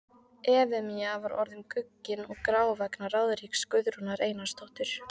Efemía var orðin guggin og grá vegna ráðríkis Guðrúnar Einarsdóttur.